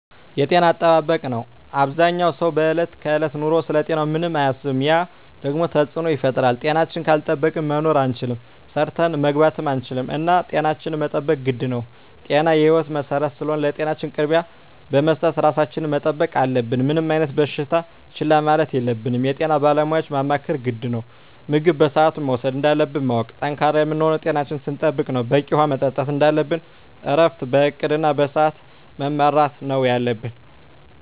የጤና አጠባበቅ ነው አበዛኛው ሰው በዕለት ከዕለት ኑሮው ስለ ጤናው ምንም አያስብም ያ ደግሞ ተፅዕኖ ይፈጥራል። ጤናችን ካልጠበቅን መኖር አንችልም ሰርተን መግባት አንችልም እና ጤናችን መጠበቅ ግድ ነው ጤና የህይወት መሰረት ስለሆነ ለጤናችን ቅድሚያ በመስጠት ራሳችን መጠበቅ አለብን። ምንም አይነት በሽታ ችላ ማለት የለብንም የጤና ባለሙያዎችን ማማከር ግድ ነው። ምግብ በስአቱ መውሰድ እንዳለብን ማወቅ። ጠንካራ የምንሆነው ጤናችን ስንጠብቅ ነው በቂ ውሀ መጠጣት እንደለብን እረፍት በእቅድ እና በስዐት መመራት ነው የለብን